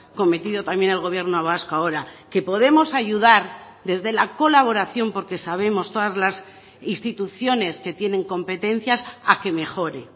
cometido también el gobierno vasco ahora que podemos ayudar desde la colaboración porque sabemos todas las instituciones que tienen competencias a que mejore